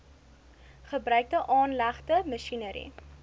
gebruikte aanlegte masjinerie